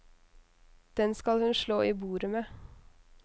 Den skal hun slå i bordet med.